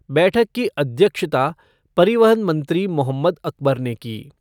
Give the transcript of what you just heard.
बैठक की अध्यक्षता परिवहन मंत्री मोहम्मद अकबर ने की।